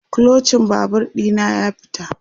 Kluchin Babur ɗina ya fita